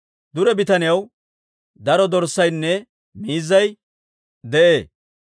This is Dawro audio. Dure bitaniyaw daro dorssaynne miizzay de'ee;